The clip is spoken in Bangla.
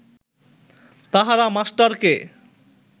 তাহারা মাস্টারকে